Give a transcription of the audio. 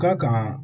Ka kan